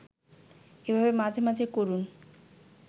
এভাবে মাঝে মাঝে করুন